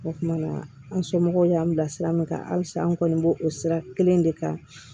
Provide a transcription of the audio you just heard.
O kuma an somɔgɔw y'an bila sira min kan halisa an kɔni b'o o sira kelen de kan